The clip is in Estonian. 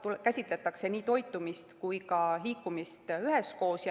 Siin käsitletakse nii toitumist kui ka liikumist üheskoos.